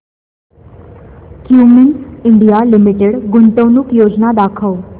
Cummins India limited गुंतवणूक योजना दाखव